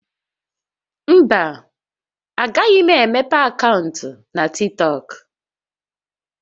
Mba, agaghị m emepe akaụntụ na TikTọk